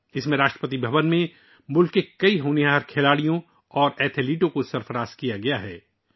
اس میں راشٹرپتی بھون میں ملک کے کئی ہونہار کھلاڑیوں اور ایتھلیٹس کو اعزاز سے نوازا گیا ہے